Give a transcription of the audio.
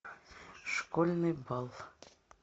школьный бал